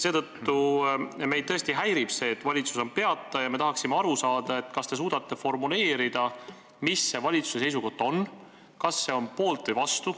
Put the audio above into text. Meid tõesti häirib see, et valitsus on peata, ja me tahaksime aru saada, kas te suudate formuleerida, mis see valitsuse seisukoht on, kas te olete poolt või vastu.